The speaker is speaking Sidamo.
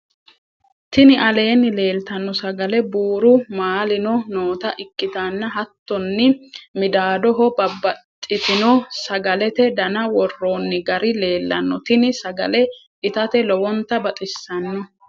tini aleenni leelitanno sagale buru maalino noota ikkitanna hattonni midaadoho babbaxitino sagalete dana worronni gari leellanno. tini sagale itate lowonta baxxisanote.